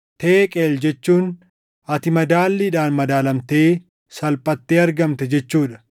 “ Teeqeel jechuun ati madaalliidhaan madaalamtee salphattee argamte jechuu dha.